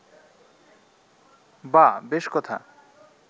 বাঃ বেশ কথা